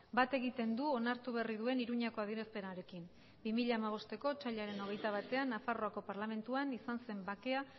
bat egiten du onartu berri duen iruñako adierazpenarekin bi mila hamabost otsailaren hogeita batean nafarroako parlamentuan izan zen bakea